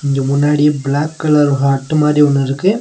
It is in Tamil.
இங்க முன்னாடி பிளாக் கலர் ஹாட்டு மாரி ஒன்னு இருக்கு.